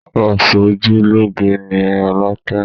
Aṣojúlóge ni rolake